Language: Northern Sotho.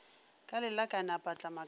ka lelakane a patlama ka